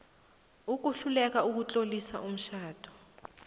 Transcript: ukuhluleka ukutlolisa umtjhado